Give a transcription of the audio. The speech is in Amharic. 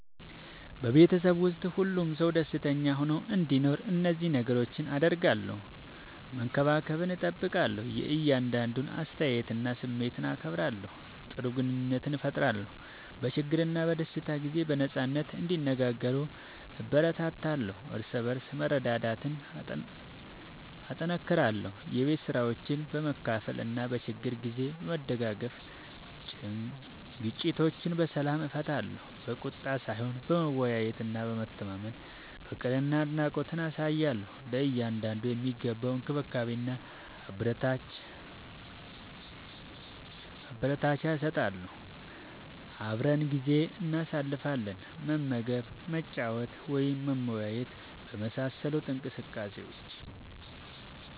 በቤተሰብ ውስጥ ሁሉም ሰው ደስተኛ ሆኖ እንዲኖር እነዚህን ነገሮች አደርጋለሁ፦ መከባበርን እጠብቃለሁ – የእያንዳንዱን አስተያየትና ስሜት አከብራለሁ። ጥሩ ግንኙነት እፈጥራለሁ – በችግርና በደስታ ጊዜ በነጻነት እንዲነጋገሩ እበረታታለሁ። እርስ በርስ መረዳዳትን እጠናክራለሁ – የቤት ስራዎችን በመካፈል እና በችግር ጊዜ በመደጋገፍ። ግጭቶችን በሰላም እፈታለሁ – በቁጣ ሳይሆን በመወያየትና በመተማመን። ፍቅርና አድናቆት አሳያለሁ – ለእያንዳንዱ የሚገባውን እንክብካቤና አበረታቻ እሰጣለሁ። አብረን ጊዜ እናሳልፋለን – መመገብ፣ መጫወት ወይም መወያየት በመሳሰሉ እንቅስቃሴዎች።